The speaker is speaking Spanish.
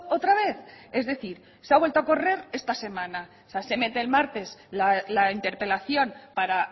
otra vez es decir se ha vuelto a correr esta semana se mete el martes la interpelación para